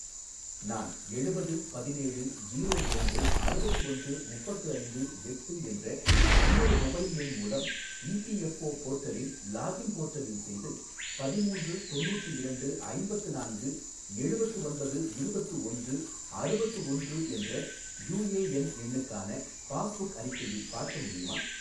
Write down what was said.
நான் எழுபது பதினேழு ஜீரோ இரண்டு அறுபத்து ஒன்று முப்பத்து ஐந்து எட்டு என்ற இன்னொரு மொபைல் எண் மூலம் இபிஎஃப்ஓ போர்ட்டலில் லாகின் போர்ட்டலில் செய்து பதிமூன்று தொண்ணூற்று இரண்டு ஐம்பத்து நான்கு எழுபத்து ஒன்பது இருபத்து ஒன்று அறுபத்து ஒன்று என்ற யூஏஎன் எண்ணுக்கான பாஸ்புக் அறிக்கையை பார்க்க முடியுமா?